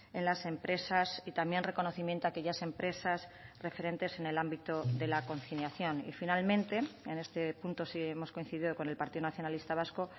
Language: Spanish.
en las empresas y también reconocimiento a aquellas empresas referentes en el ámbito de la conciliación y finalmente en este punto sí hemos coincidido con el partido nacionalista vasco